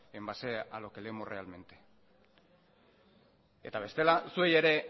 en base a lo que leemos realmente eta bestela zuei ere